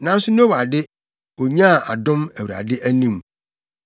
Nanso Noa de, onyaa adom Awurade anim.